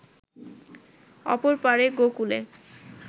অপর পাড়ে গোকূলে